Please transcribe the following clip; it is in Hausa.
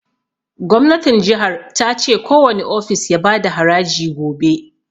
Gwamnatin jihar ta ce kowani ofis ya bada haraji gobe